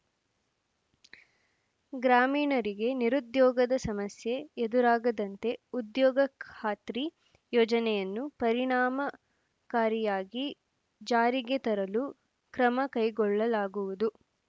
ಗ್ರಾಮೀಣರಿಗೆ ನಿರುದ್ಯೋಗದ ಸಮಸ್ಯೆ ಎದುರಾಗದಂತೆ ಉದ್ಯೋಗ ಖಾತ್ರಿ ಯೋಜನೆಯನ್ನು ಪರಿಣಾಮಕಾರಿಯಾಗಿ ಜಾರಿಗೆ ತರಲು ಕ್ರಮ ಕೈಗೊಳ್ಳಲಾಗುವುದು